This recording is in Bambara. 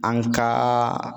An ka